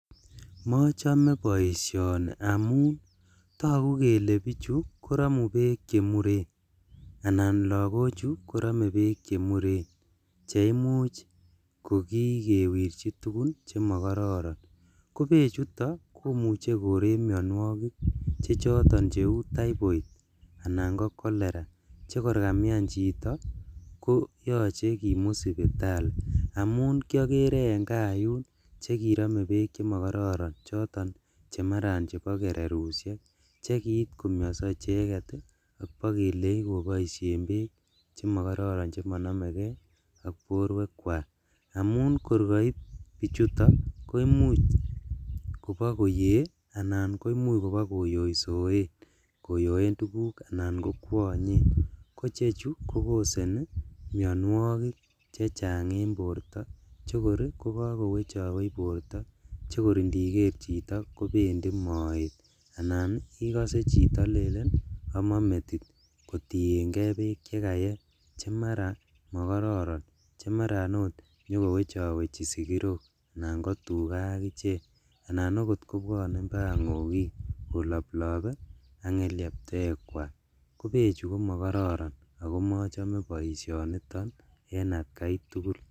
Mochome boisioni amun togu kele bichu koromu beek chemuren anan lagochu koromu beek chemuren cheimuch kokikewirji tugun chemokororon , kobechuto komuche koree mionuokik che choton cheu typhoid anan ko cholera chekor kamian chito koyoche kimut sipitali, amun kiolere en kaa yun chekirome beek chemokororon choton chemaran bo kererushek chekiit komioso icheket ii ok bokelei koboishen beek chemokororon chemonomekee ak boruekwak, amun kor koib bichuton koimuch kobokoyee anan koimuch kobo koyoisoen koyoen tuguk anan kokwonyen, kochechu kokoseni mionuokik chechang en borto chekor kokokowechowech borto chekor indiker chito kobendi moet, anan ikose chito lelen omon metit kotiengee beek chekayee chemaraa mokororon chemaran oot nyokowechowechi sikirok anan kotugaa ak ichek anan okot kobwonen bakaa ngokik koloplobee ak ngelekwekwak kobechu komokororon ako mochome boisioni en atkaitugul.